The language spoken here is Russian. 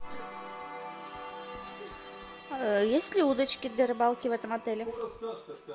есть ли удочки для рыбалки в этом отеле